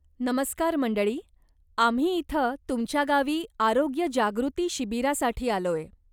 नमस्कार मंडळी, आम्ही इथं तुमच्या गावी आरोग्य जागृती शिबिरासाठी आलोय.